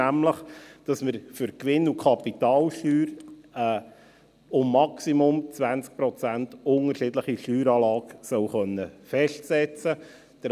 nämlich, dass wir für die Gewinn- und Kapitalsteuer eine um maximal 20 Prozent unterschiedliche Steueranlage festsetzen können sollen.